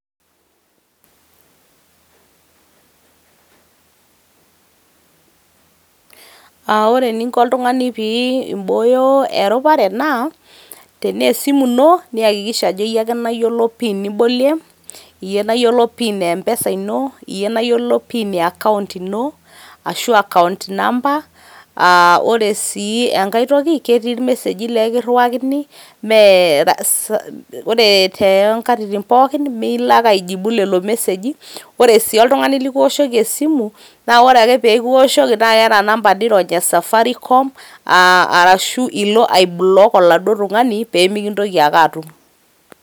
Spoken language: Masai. Aa ore eninko oltungani pibooyo eropare naa tenee esimu ino niakikisha ajo iyie ake nayiolo pin nibolie ,iyie nayiolo pin empesa ino, iyie nayiolo pin e account ino ashu accoount number aa ore sii enkae toki ketii irmeseji lee ekiriwakini mee ore too nkatitin pookin miilo ake aijibu lelo meseji . ore si ltungani likiwoshki esimu naa ore ake pekiwoshoki naa keeta number nirony e safaricom arashu ilo ai block oladuo tungani pemikintoki ake atum.